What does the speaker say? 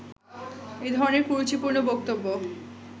এই ধরণের কুরুচিপূর্ণ বক্তব্য